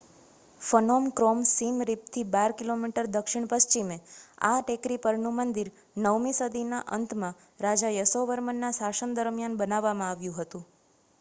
Phnom Krom Siem Reap થી 12 કિમી દક્ષિણ પશ્ચિમે આ ટેકરી પર નું મંદિર 9 મી સદી ના અંત માં રાજા યસોવર્મન ના શાસન દરમ્યાન બાંધવામાં આવ્યું હતું